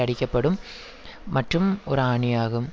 அடிக்கப்படும் மற்றும் ஒரு ஆணியாகும்